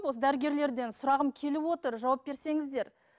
осы дәрігерлерден сұрағым келіп отыр жауап берсеңіздер